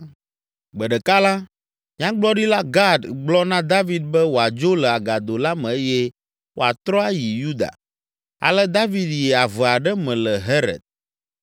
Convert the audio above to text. Gbe ɖeka la, Nyagblɔɖila Gad gblɔ na David be wòadzo le agado la me eye wòatrɔ ayi Yuda. Ale David yi ave aɖe me le Heret.